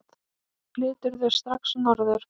Flyturðu strax norður?